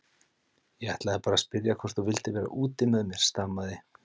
Ég ætlaði bara að spyrja hvort þú vildir vera úti með mér stamaði